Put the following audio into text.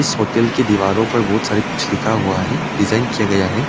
इस होटल की दीवारों पर बहुत सारे कुछ लिखा हुआ है डिजाइन किया गया है।